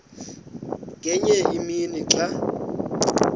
ngenye imini xa